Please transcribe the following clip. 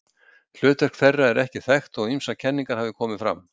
Hlutverk þeirra er ekki þekkt þótt ýmsar kenningar hafi komið fram.